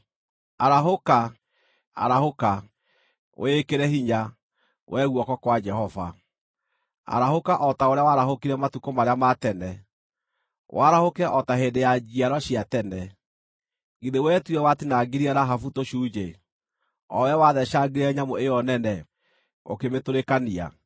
Arahũka, arahũka! Wĩĩkĩre hinya, wee guoko kwa Jehova; arahũka o ta ũrĩa waarahũkire matukũ marĩa ma tene, warahũke o ta hĩndĩ ya njiarwa cia tene. Githĩ wee tiwe watinangirie Rahabu tũcunjĩ, o wee watheecangire nyamũ ĩyo nene, ũkĩmĩtũrĩkania?